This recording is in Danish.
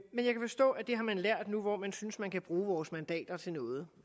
har man lært nu hvor man synes at man kan bruge vores mandater til noget